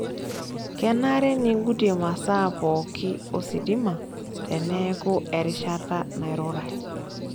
Kenare ningutie masaa pookin ositima teneeku erishata nairurai.